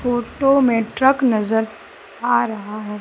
Photo में truck नजर आ रहा हैं।